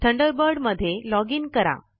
Thunderbird मध्ये login करा